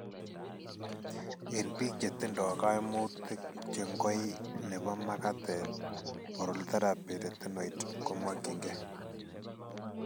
En biik chetindo kaimutik che ngoy nebo makatet, oral therapy retinoid komokyin keey.